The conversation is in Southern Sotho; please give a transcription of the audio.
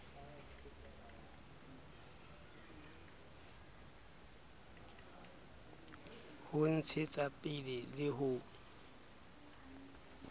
ho ntshetsa pele le ho